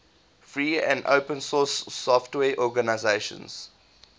free and open source software organizations